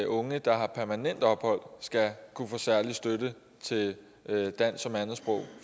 unge der har permanent ophold skal kunne få særlig støtte til dansk som andetsprog